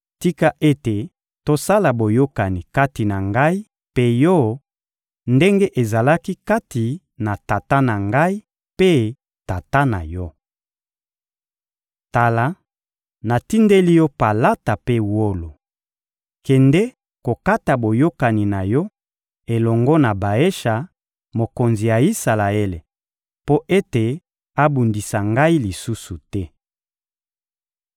«Tika ete tosala boyokani kati na ngai mpe yo ndenge ezalaki kati na tata na ngai mpe tata na yo. Tala, natindeli yo palata mpe wolo. Kende kokata boyokani na yo elongo na Baesha, mokonzi ya Isalaele, mpo ete abundisa ngai lisusu te.»